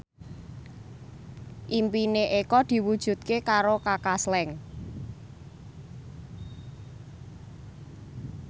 impine Eko diwujudke karo Kaka Slank